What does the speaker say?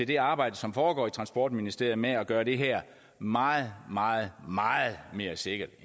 det arbejde som foregår i transportministeriet med at gøre det her meget meget meget mere sikkert